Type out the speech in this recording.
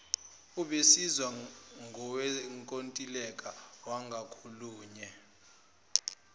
obizwa ngowenkontileka wangakolunye